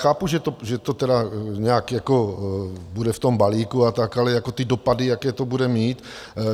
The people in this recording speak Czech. chápu, že to tedy nějak bude v tom balíku a tak, ale ty dopady, jaké to bude mít?